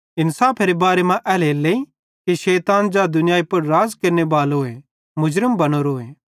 इन्साफेरे बारे मां एल्हेरेलेइ कि शैतान ज़ै दुनियाई पुड़ राज़ केरनेबालो मुर्ज़म बनोरोए